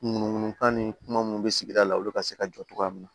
Munu munu kan ni kuma minnu bɛ sigida la olu ka se ka jɔ cogoya min na